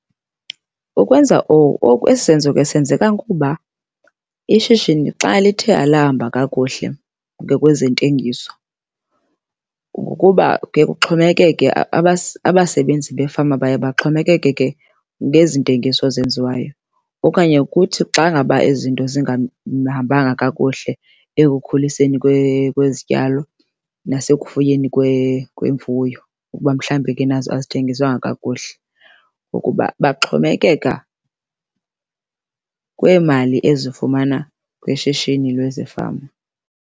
Ukwenza oku, esi senzo ke senzeka kuba ishishini xa lithe alahamba kakuhle ngokwezentengiso, ngokuba kuye kuxhomekeke abasebenzi befama baye baxhomekeke ke ngezi ntengiso zenziwayo. Okanye kuthi xa ngaba ezi zinto zingahambanga kakuhle ekukhuliseni kwezityalo nasekufuyeni kwemfuyo ukuba mhlambi ke nazo azithengiswanga kakuhle kukuba baxomekeka kwiimali ezifumana kwishishini lwezeefama.